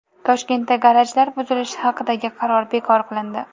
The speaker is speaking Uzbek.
Toshkentda garajlar buzilishi haqidagi qaror bekor qilindi.